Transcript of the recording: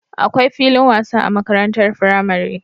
Akwai filin wasa a makarantar firamare